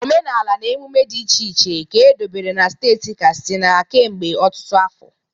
Omenala na emume dị iche iche ka edobere na steeti Katsina kemgbe ọtụtụ afọ.